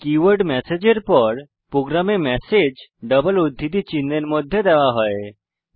keyword message এর পর প্রোগ্রামে ম্যাসেজ ডাবল উদ্ধৃতি চিহ্ন এর মধ্যে দেওয়া হয়েছে